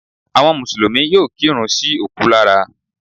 Àwọn mùsùlùmí yóò kírun sí òkú lára